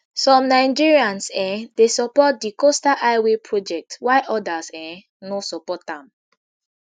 some nigerians um dey support di coastal highway project whuile odas um no support am